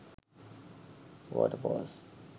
waterfalls